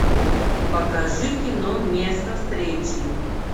покажи кино место встречи